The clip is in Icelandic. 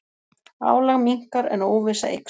Álag minnkar en óvissa eykst